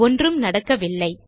ஒன்றும் நடக்க வில்லை